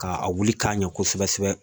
Ka a wili k'a ɲɛ kosɛbɛ kosɛbɛ